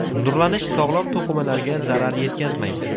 Nurlanish sog‘lom to‘qimalarga zarar yetkazmaydi.